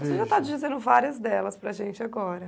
Você já está dizendo várias delas para a gente agora.